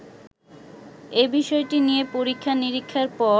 এবিষয়টি নিয়ে পরীক্ষা নীরিক্ষার পর